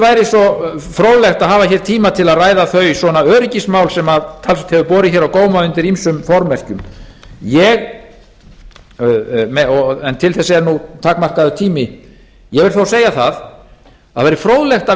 væri svo fróðlegt að hafa tíma til að ræða þau öryggismál sem talsvert hefur borið á góma undir ýmsum formerkjum en til þess er takmarkaður tími ég vil svo segja að það væri fróðlegt að